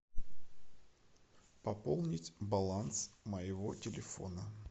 пополнить баланс моего телефона